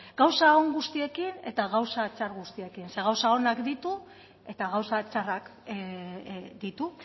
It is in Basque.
gauza on guztiekin eta gauza txar guztiekin zeren gauza onak ditu eta gauza txarrak ditu